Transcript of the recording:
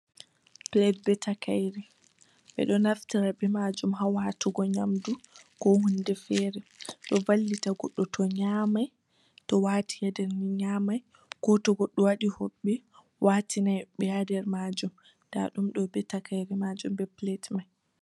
Pilet bee takaire, ɓe ɗo naftira bee maajum ha waatugo nyamdu, koo huunde feere. Ɗo vallita goɗɗo to nyaamai, ɗo waatina den nyaamai, koo to goɗɗo waɗi hoɓɓe waatinai ɓe ha nder maajum, daa ɗum ɗo bee takaire maajum bee pilet mai.